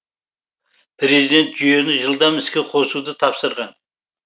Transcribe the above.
президент жүйені жылдам іске қосыуды тапсырған